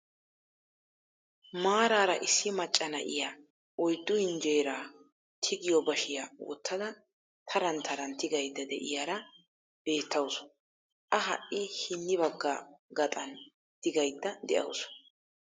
Maaraara issi macca na'iyaa oyddu hinjjeraa tigiyoo baashiyaa wottada taran taran tigaydda de'iyaara beettawus. a ha'i hini bagga gaaxan tiggaydda de'awus.